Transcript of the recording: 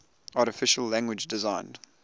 artificial language designed